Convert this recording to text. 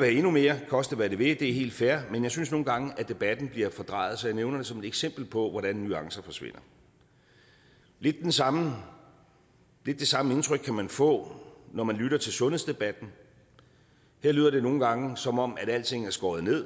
have endnu mere koste hvad det vil det er helt fair men jeg synes nogle gange at debatten bliver fordrejet så jeg nævner det som et eksempel på hvordan nuancer forsvinder lidt det samme det samme indtryk kan man få når man lytter til sundhedsdebatten her lyder det nogle gange som om alting er skåret ned